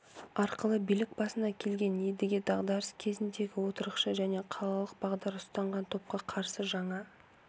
арқылы билік басына келген едіге дағдарыс кезіндегі отырықшы және қалалық бағдар ұстанған топқа қарсы жаңа